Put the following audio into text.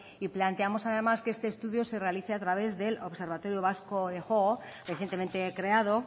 y planteamos además que este estudio se realice a través del observatorio vasco de juego recientemente creado